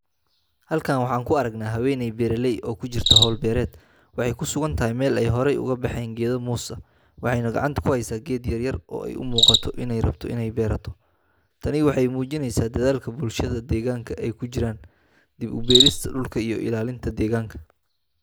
Halkan waxaan ku aragnaa haweeney beeraley ah oo ku jirta hawl beereed. Waxay ku sugan tahay meel ay hore uga baxeen geedo muus ah, waxayna gacanta ku haysaa geed yar oo ay u muuqato inay rabto inay beerato. Tani waxay muujinaysaa dadaalka bulshada deegaanka ay ugu jiraan dib u beerista dhulka iyo ilaalinta deegaanka.